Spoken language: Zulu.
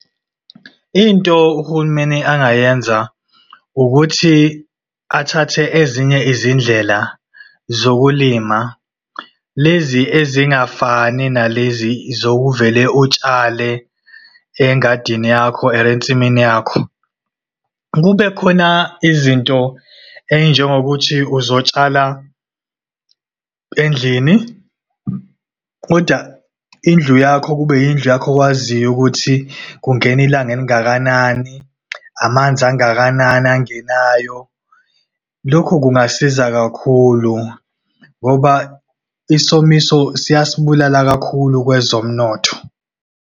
Into uhulumeni angayenza, ukuthi athathe ezinye izindlela zokulima. Lezi ezingafani nalezi zokuvele utshale engadini yakho or ensimini yakho. Kube khona izinto ey'njengokuthi uzotshala endlini, kodwa indlu yakho, kube indlu yakho owaziyo ukuthi kungena ilanga elingakanani, amanzi angakanani angenayo. Lokho kungasiza kakhulu, ngoba isomiso siyasibulala kakhulu kwezomnotho.